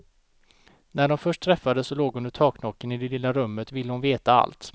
När de först träffades och låg under taknocken i det lilla rummet ville hon veta allt.